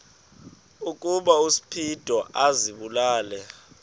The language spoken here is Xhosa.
ukuba uspido azibulale